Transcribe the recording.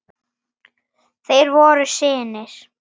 Þeir voru synir